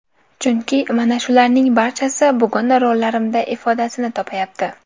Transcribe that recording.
Chunki mana shularning barchasi bugun rollarimda ifodasini topayapti.